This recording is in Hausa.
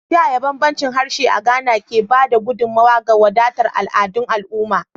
Ta yaya bambancin harshe a Ghana, ke ba da gudummawa ga wadatar al'adun al'umma?